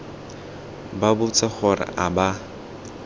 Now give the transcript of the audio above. ba botse gore a ba